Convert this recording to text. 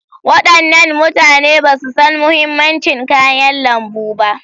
Wadannan mutane ba su san mahimmancin kayan lambu ba.